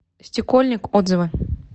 стекольник отзывы